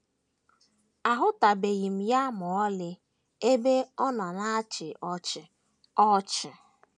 “ A HỤTỤBEGHỊ ya ma ọlị ebe ọ na - achị ọchị. ” ọchị. ”